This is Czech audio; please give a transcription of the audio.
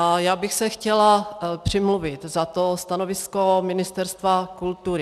A já bych se chtěla přimluvit za to stanovisko Ministerstva kultury.